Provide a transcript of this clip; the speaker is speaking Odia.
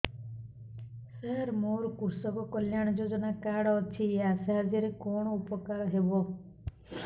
ସାର ମୋର କୃଷକ କଲ୍ୟାଣ ଯୋଜନା କାର୍ଡ ଅଛି ୟା ସାହାଯ୍ୟ ରେ କଣ ଉପକାର ହେବ